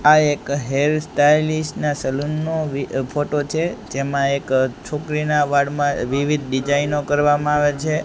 આ એક hair stylist ના સલૂન નુ ફોટો છે જેમા એક છોકરીના વાળમાં વિવિધ ડિઝાઇનો કરવામાં આવે છે.